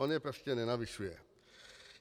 On je prostě nenavyšuje.